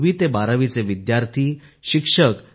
ही नोंदणी 28 डिसेंबर पासून 20 जानेवारी पर्यंत चालेल